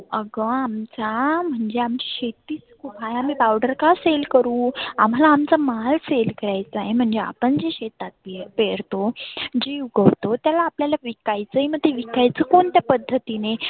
आग आमच्या म्हणजे आमची शेती काय आम्ही powder का sell करु? आम्हाला आमचा माल sell करायचा आहे. म्हणजे आपण जे शेतात पेरतो जी उगवतो त्याला आपल्याला विकायचंं मग ते विकायच कोणत्या पद्धतीने